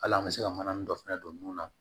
Hali an bɛ se ka mana nin dɔ fɛnɛ don nun na